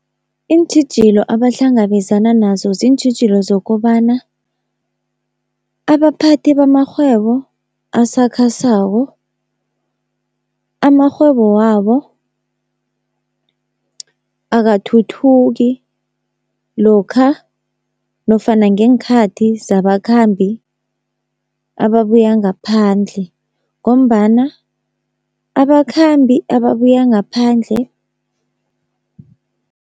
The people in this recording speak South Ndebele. Iintjhijilo abahlangabezana nazo ziintjhijilo zokobana abaphathi bamarhwebo asakhasako, amarhwebo wabo akathuthuki lokha nofana ngeenkhathi zabakhambi ababuya ngaphandle, ngombana abakhambi ababuya ngaphandle.